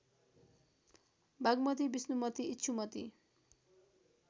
Bagmati Vishnumati Ikshumati